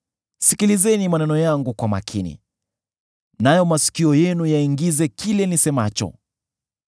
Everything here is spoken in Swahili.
Sikilizeni maneno yangu kwa makini; nayo masikio yenu yaingize kile nisemacho.